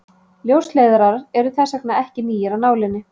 Ljósleiðarar eru þess vegna ekki nýir af nálinni.